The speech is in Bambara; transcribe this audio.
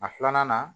A filanan na